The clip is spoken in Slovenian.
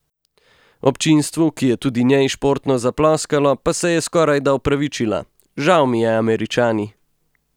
Občinstvu, ki je tudi njej športno zaploskalo, pa se je skorajda opravičila: "Žal mi je, Američani.